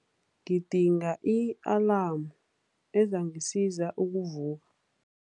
Ngidinga i-alamu ezangisiza ukuvu